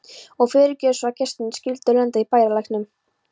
Og fyrirgefðu svo að gestirnir skyldu lenda í bæjarlæknum.